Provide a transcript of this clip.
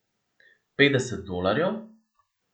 Petdeset dolarjev?